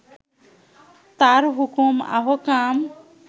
তার হুকুম আহকাম